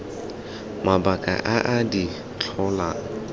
mabaka a a di tlholang